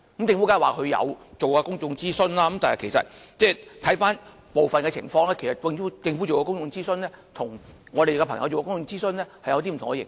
政府當然說曾做公眾諮詢，但回顧以往的情況，政府進行的公眾諮詢與我們做的是不同的形式。